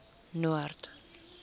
noord